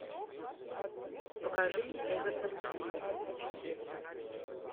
покажи мне эвертон челси